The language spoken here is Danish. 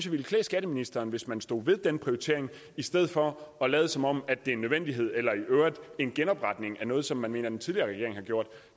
ville klæde skatteministeren hvis man stod ved den prioritering i stedet for at lade som om det er en nødvendighed eller i øvrigt en genopretning af noget som man mener den tidligere regering har gjort